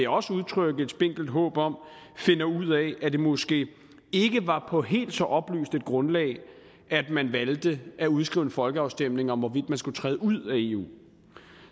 også udtrykke et spinkelt håb om finder ud af at det måske ikke var på helt så oplyst et grundlag at man valgte at udskrive en folkeafstemning om hvorvidt man skulle træde ud af eu